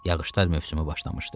Yağışlar mövsümü başlamışdı.